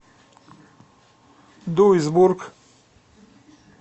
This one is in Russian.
дуйсбург